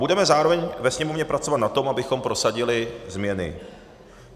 Budeme zároveň ve Sněmovně pracovat na tom, abychom prosadili změny.